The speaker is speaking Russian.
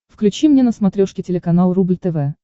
включи мне на смотрешке телеканал рубль тв